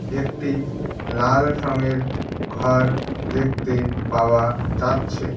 একটি লাল রঙের ঘর দেখতে পাওয়া যাচ্ছে।